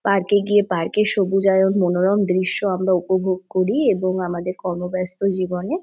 park -এ গিয়ে park -এর সবুজ আর মনোরম দৃশ্য আমরা উপভোগ করি এবং আমাদের কর্ম্ম বাস্তব জীবনে--